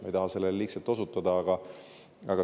Ma ei taha sellele liigselt osutada.